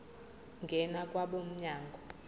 ngena kwabo mnyango